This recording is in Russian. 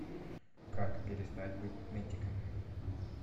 как перестать быть нытиком